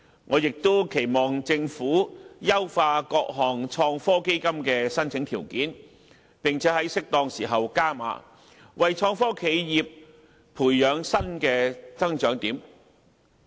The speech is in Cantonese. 我亦期望政府優化各項創科基金的申請條件，並且在適當時候"加碼"，為創科企業培養新的增長點。